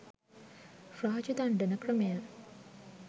රාජ දණ්ඩන ක්‍රමය